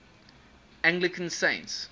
anglican saints